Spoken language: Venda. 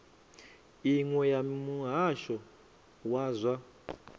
iṅwe ya muhasho wa zwa